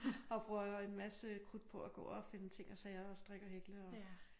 Og bruger en masse krudt på at gå og finde ting og sager og strikke og hækle og